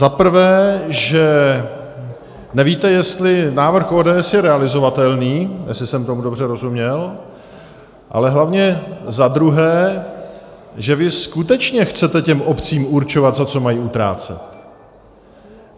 Za prvé, že nevíte, jestli návrh ODS je realizovatelný, jestli jsem tomu dobře rozuměl, ale hlavně za druhé, že vy skutečně chcete těm obcím určovat, za co mají utrácet.